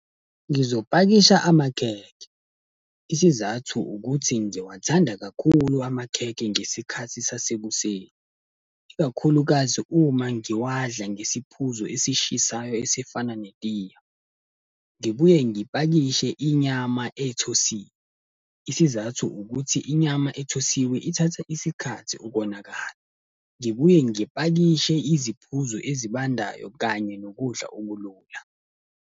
Ngizopakisha amakhekhe. Isizathu ukuthi ngizowathanda kakhulu amakhekhe ngesikhathi sasekuseni. Ikakhulukazi uma ngiwadla ngesiphuzo esishisayo esifana netiye. Ngibuye ngipakishe inyama ethosiwe, isizathu ukuthi inyama ethosiwe ithatha isikhathi ukonakala. Ngibuye ngipakishe iziphuzo ezibandayo kanye nokudla okulula.